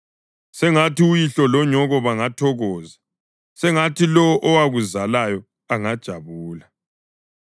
Sengathi uyihlo lonyoko bangathokoza; sengathi lowo owakuzalayo angajabula!